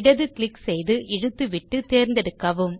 இடது க்ளிக் செய்து இழுத்து விட்டு தேர்ந்தெடுக்கவும்